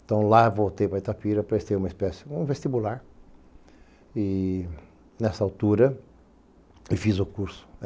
Então, lá voltei para Itapira, prestei uma espécie de vestibular e, nessa altura, e fiz o curso.